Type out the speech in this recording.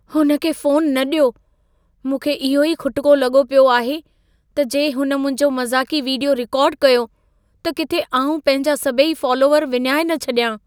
हुन खे फ़ोनु न ॾियो। मूंखे इहो ई खुटिको लॻो पियो आहे, त जे हुन मुंहिंजो मज़ाक़ी वीडियो रिकॉर्ड कयो, त किथे आउं पंहिंजा सभई फालोअर विञाए न छॾियां।